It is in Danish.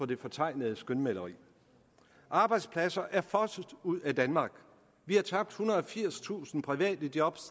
det fortegnede skønmaleri arbejdspladser er fosset ud af danmark vi har tabt ethundrede og firstusind private job